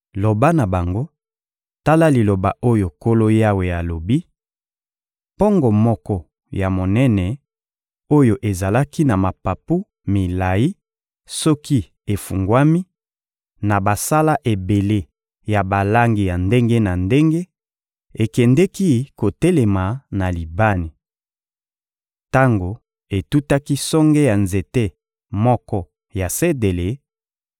Loba na bango: ‹Tala liloba oyo Nkolo Yawe alobi: Mpongo moko ya monene oyo ezalaki na mapapu milayi soki efungwami, na basala ebele ya balangi ya ndenge na ndenge, ekendeki kotelema na Libani. Tango etutaki songe ya nzete moko ya sedele,